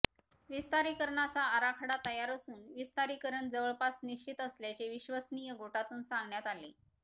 विस्तारीकरणाचा आराखडा तयार असून विस्तारीकरण जवळपास निश्चित असल्याचे विश्वसनीय गोटातून सांगण्यात आले